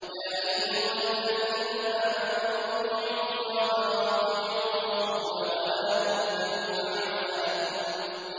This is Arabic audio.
۞ يَا أَيُّهَا الَّذِينَ آمَنُوا أَطِيعُوا اللَّهَ وَأَطِيعُوا الرَّسُولَ وَلَا تُبْطِلُوا أَعْمَالَكُمْ